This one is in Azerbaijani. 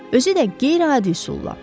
Özü də qeyri-adi üsulla.